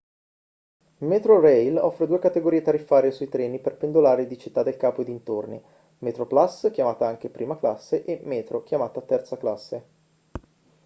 metrorail offre due categorie tariffarie sui treni per pendolari di città del capo e dintorni: metroplus chiamata anche prima classe e metro chiamata terza classe